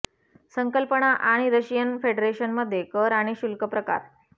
संकल्पना आणि Russian federation मध्ये कर आणि शुल्क प्रकार